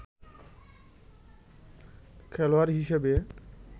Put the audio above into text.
খেলোয়াড় হিসেবে